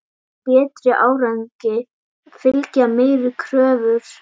Betri árangri fylgja meiri kröfur.